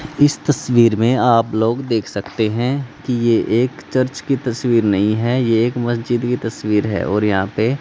इस तस्वीर में आप लोग देख सकते हैं कि ये एक चर्च की तस्वीर नहीं है ये एक मस्जिद की तस्वीर है और यहां पे--